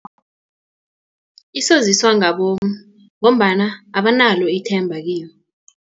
Isoziswa ngabomu ngombana abanalo ithemba kiyo.